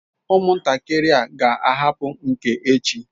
Umuntakiri a ha ga ahapu nke echi?